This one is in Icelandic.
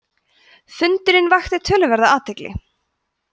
fundurinn vakti töluverða athygli